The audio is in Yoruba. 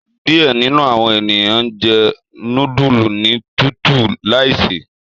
Diẹ ninu awọn eniyan njẹ nudulu ni tutu laise